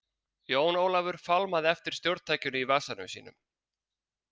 Jón Ólafur fálmaði eftir stjórntækinu í vasanum sínum.